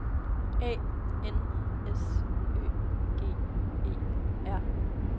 A N S Ø G E R